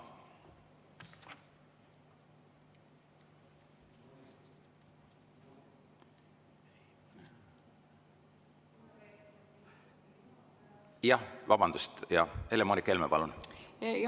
Jah, vabandust, Helle-Moonika Helme, palun!